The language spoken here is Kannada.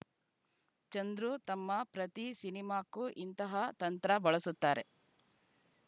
ಚಂದ್ರು ತಮ್ಮ ಪ್ರತಿ ಸಿನಿಮಾಕ್ಕೂ ಇಂತಹ ತಂತ್ರ ಬಳಸುತ್ತಾರೆ